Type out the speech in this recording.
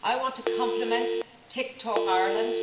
I want to compliment Tick Talk Ireland.